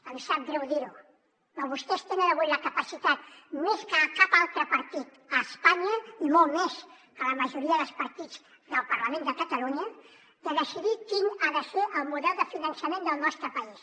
em sap greu dir ho però vostès tenen avui la capacitat més que cap altre partit a espanya i molt més que la majoria dels partits del parlament de catalunya de decidir quin ha de ser el model de finançament del nostre país